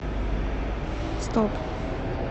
стоп